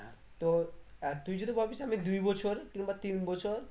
তো আর তুই যদি ভাবিস আমি দুই বছর কিংবা তিন বছর